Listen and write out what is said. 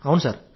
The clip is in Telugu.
అవును సార్